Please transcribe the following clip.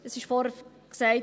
Es wurde vorhin gesagt: